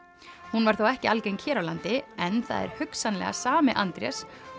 hún var þó ekki algeng hér á landi en það er hugsanlega sami Andrés